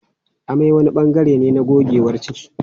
Amai wani bangare ne na gogewar ciki.